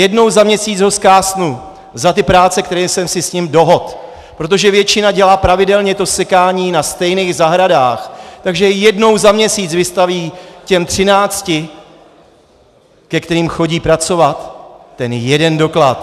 Jednou za měsíc ho zkásnu za ty práce, které jsem si s ním dohodl, protože většina dělá pravidelně to sekání na stejných zahradách, takže jednou za měsíc vystaví těm třinácti, ke kterým chodí pracovat, ten jeden doklad.